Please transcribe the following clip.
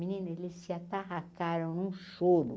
Menina, eles se atarrataram num choro.